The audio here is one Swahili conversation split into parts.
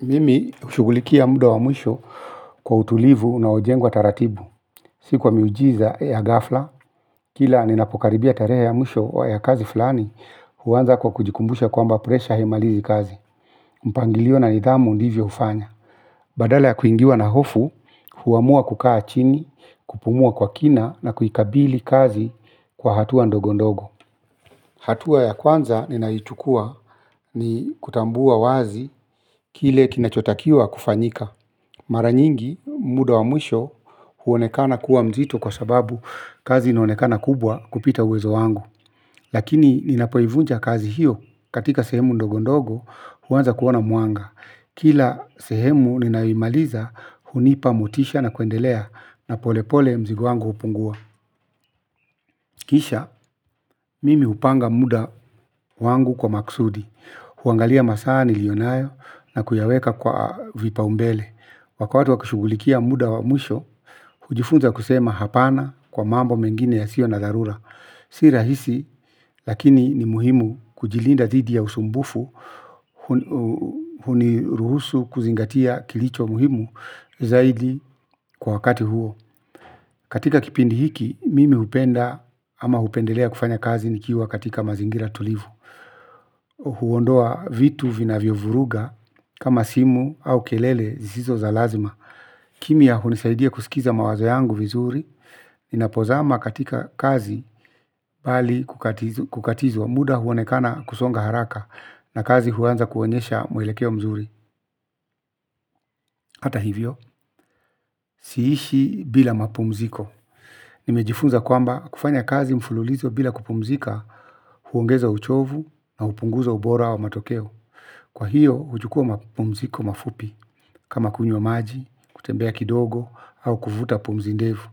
Mimi hushugulikia muda wa mwisho kwa utulivu unaojengwa taratibu. Si kwa miujiza ya ghafla, kila ninapokaribia tarehe ya mwisho ya kazi fulani, huanza kwa kujikumbusha kwamba presha haimalizi kazi. Mpangilio na nidhamu ndivyo hufanya. Badala ya kuingiwa na hofu, huamua kukaa chini, kupumua kwa kina na kuikabili kazi kwa hatua ndogo ndogo. Hatua ya kwanza ninayoichukua ni kutambua wazi kile kinachotakiwa kufanyika. Mara nyingi muda wa mwisho huonekana kuwa mzito kwa sababu kazi inaonekana kubwa kupita uwezo wangu. Lakini ninapoivunja kazi hiyo katika sehemu ndogondogo huanza kuona mwanga. Kila sehemu ninayoimaliza hunipa motisha na kuendelea na polepole mzigo wangu hupungua. Kisha, mimi hupanga muda wangu kwa maksudi, huangalia masaa nilionayo na kuyaweka kwa vipaombele. Wakati wa kushugulikia muda wa mwisho, hujifunza kusema hapana kwa mambo mengine yasio na dharura. Si rahisi, lakini ni muhimu kujilinda dhidi ya usumbufu, huniruhusu kuzingatia kilicho muhimu zaidi kwa wakati huo. Katika kipindi hiki, mimi hupenda ama hupendelea kufanya kazi nikiwa katika mazingira tulivu. Huondoa vitu vinavyovuruga kama simu au kelele zisizo za lazima. Kimya hunisaidia kusikiza mawazo yangu vizuri ninapozama katika kazi bali kukatizwa muda huonekana kusonga haraka. Na kazi huanza kuonyesha mwelekeo mzuri hata hivyo siishi bila mapumziko. Nimejifunza kwamba kufanya kazi mfululizo bila kupumzika huongeza uchovu na hupunguza ubora wa matokeo. Kwa hiyo huchukua mapumziko mafupi kama kunywa maji, kutembea kidogo au kuvuta pumzi ndefu.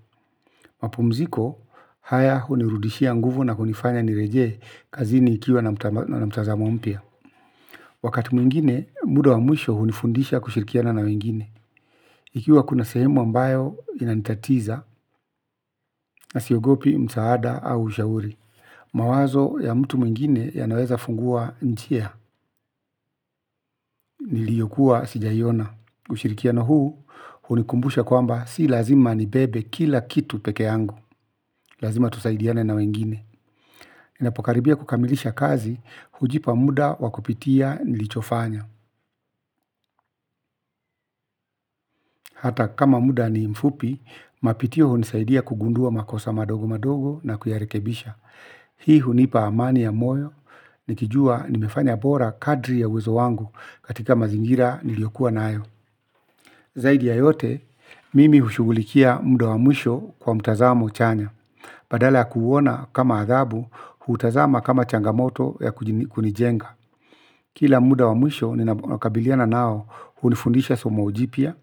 Mapumziko haya hunirudishia nguvu na hunifanya nirejee kazini nikiwa na mtazamo mpya wakati mwingine muda wa mwisho hunifundisha kushirikiana na wengine ikiwa kuna sehemu ambayo inanitatiza na siogopi msaada au ushauri. Mawazo ya mtu mwingine yanaweza fungua njia, niliyokuwa sijaiona. Ushirikiano huu, hunikumbusha kwamba si lazima nibebe kila kitu peke yangu. Lazima tusaidiane na wengine ninapokaribia kukamilisha kazi, hujipa muda wakupitia nilichofanya. Hata kama muda ni mfupi, mapitio hunisaidia kugundua makosa madogo madogo na kuyarekebisha. Hii hunipa amani ya moyo, nikijua nimefanya bora kadri ya uwezo wangu katika mazingira niliyokuwa nayo zaidi ya yote, mimi hushugulikia muda wa mwisho kwa mtazamo chanya. Badala ya kuuona kama adhabu, huutazama kama changamoto ya kunijenga kila muda wa mwisho ninaokabiliana nao hunifundisha somo jipya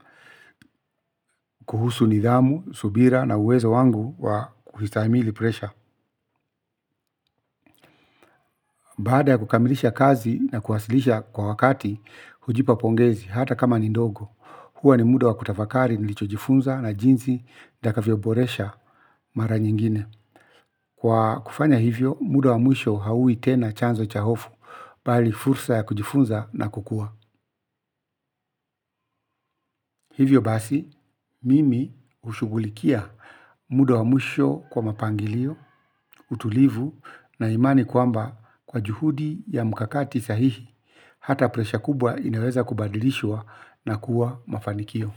kuhusu nidhamu subira na uwezo wangu wa kustahimili presha. Baada ya kukamilisha kazi na kuwasilisha kwa wakati, hujipa pongezi hata kama ni ndogo. Huwa ni muda wa kutafakari nilicho jifunza na jinsi nitavyoboresha mara nyingine. Kwa kufanya hivyo, muda wa mwisho haui tena chanzo cha hofu, bali fursa ya kujifunza na kukua. Hivyo basi mimi hushugulikia muda wa mwisho kwa mapangilio utulivu na imani kwamba kwa juhudi ya mkakati sahihi hata presha kubwa inaweza kubadilishwa na kuwa mafanikio.